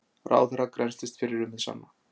Ráðherra grennslist fyrir um hið sanna